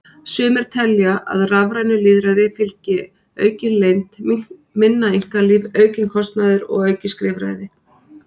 Sumir telja að rafrænu lýðræði fylgi aukin leynd, minna einkalíf, aukinn kostnaður og aukið skrifræði.